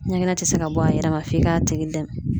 Ɲɛgɛn tɛ se ka bɔ a yɛrɛ ma f'i ka tigi dɛmɛ.